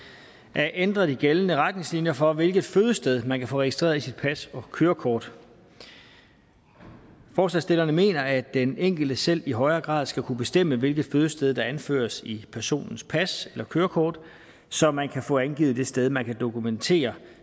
at ændre de gældende retningslinjer for hvilket fødested man kan få registreret i sit pas og kørekort forslagsstillerne mener at den enkelte selv i højere grad skal kunne bestemme hvilket fødested der anføres i personens pas eller kørekort så man kan få angivet det sted man kan dokumentere